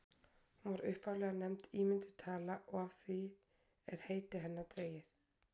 hún var upphaflega nefnd ímynduð tala og af því er heiti hennar dregið